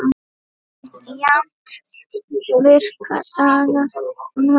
Jafnt virka daga sem helga.